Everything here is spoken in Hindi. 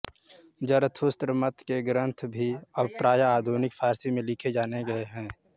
ज़रथुस्त्र मत के ग्रंथ भी अब प्राय आधुनिक फारसी में लिखे जाने लग गए